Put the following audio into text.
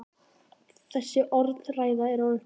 Þessi orðræða er orðin þreytt!